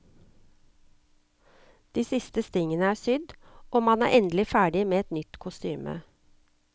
De siste stingene er sydd, og man er endelig ferdig med et nytt kostyme.